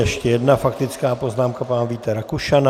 Ještě jedna faktická poznámka pana Víta Rakušana.